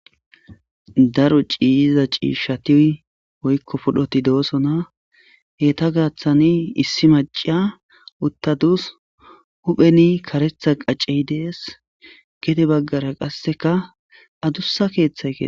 Daro ciyiza ciishshati woykko pudhdhoti doosona etta gaaththani issi maciya uttadus huphpheni karerhtha qacey dees gede baggara qasseka adussa keeththay ke